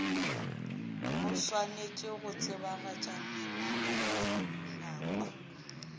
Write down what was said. o swanetše go tsebagatša melaotlhakwa